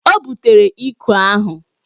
O butere ikwe ahụ.